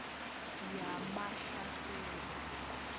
yamahlasela